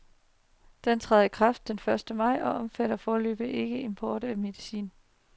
Den træder i kraft den første maj, og omfatter foreløbig ikke importeret medicin.